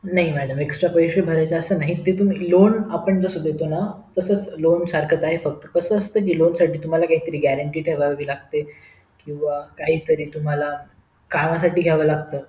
नाही madamextra पैसे भरायचं असं नाहीते तुम्ही lone आपण जसे देतो ना तसंच lone सारखं आहे फक्त कसं असतं कि lone साठी तुम्हला काहीतरी granty ठेवावी लागते किंवा काहीतरी तुम्हला कामासाठी घ्यावे लागते